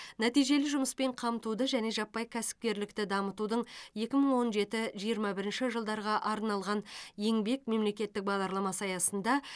нәтижелі жұмыспен қамтуды және жаппай кәсіпкерлікті дамытудың екі мың он жеті жиырма бірінші жылдарға арналған еңбек мемлекеттік бағдарламасы аясында